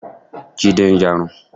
Jídé ń yarun.